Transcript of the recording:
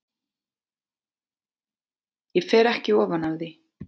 Ég fer ekki ofan af því.